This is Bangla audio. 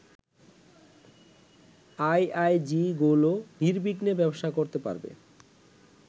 আইআইজিগুলো নির্বিঘ্নে ব্যবসা করতে পারবে